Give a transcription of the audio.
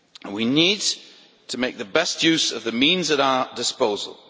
We need to make the best use of the means at our disposal.